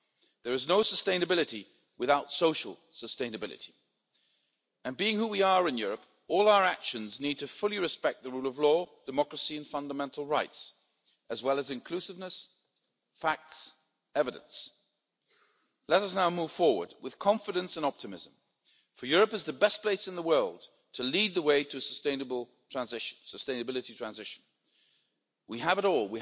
There is no sustainability without social sustainability and being who we are in Europe all our actions need to fully respect the rule of law, democracy and fundamental rights, as well as inclusiveness, facts, evidence. Let us now move forward with confidence and optimism, for Europe is the best place in the world to lead the way to sustainability transition. We have it all.